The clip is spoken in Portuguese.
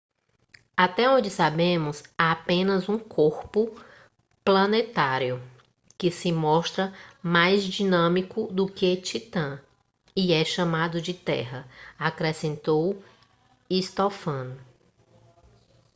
até onde sabemos há apenas um corpo planetário que se mostra mais dinâmico do que titã e é chamado de terra acrescentou stofan